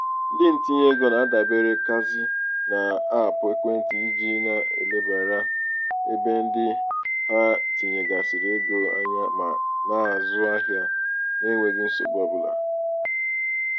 ndị ntinyeego na-adaberekazi n'aapụ ekwentị iji na-elebara ebe ndị ha tinyegasịrị ego anya ma na-azụ ahịa na-enweghi nsogbu ọbụla.